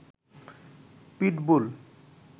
pitbull